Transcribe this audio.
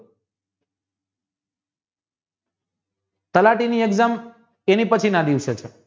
તલાટીની exam તેની પછીના દિવસે છે